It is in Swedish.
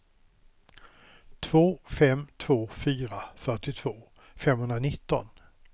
två fem två fyra fyrtiotvå femhundranitton